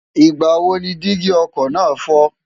ìgbà wo ni dígí ọkọ̀ náà fọ́?